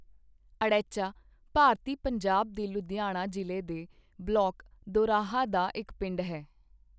ਅੜੈਚਾਂ ਭਾਰਤੀ ਪੰਜਾਬ ਦੇ ਲੁਧਿਆਣਾ ਜ਼ਿਲ੍ਹੇ ਦੇ ਬਲਾਕ ਦੋਰਾਹਾ ਦਾ ਇੱਕ ਪਿੰਡ ਹੈ।